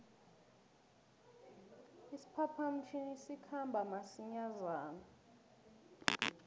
isiphapha mtjhini sikhamba masinjana